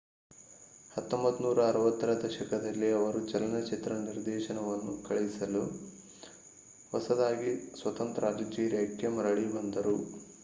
1960 ರ ದಶಕದಲ್ಲಿ ಅವರು ಚಲನಚಿತ್ರ ನಿರ್ದೇಶನವನ್ನು ಕಲಿಸಲು ಹೊಸದಾಗಿ ಸ್ವತಂತ್ರ ಅಲ್ಜೀರಿಯಾಕ್ಕೆ ಮರಳಿ ಬಂದರು